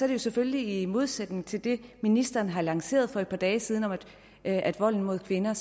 det jo selvfølgelig i modsætning til det ministeren har lanceret for et par dage siden om at volden mod kvinder